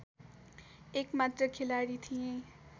एकमात्र खेलाडी थिए